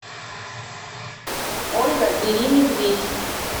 ольга деримедведь